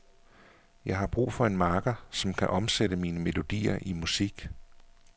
Jeg brug for en makker, som kan omsætte mine melodier i musik.